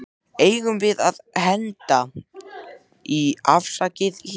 Eigum við að henda í Afsakið hlé?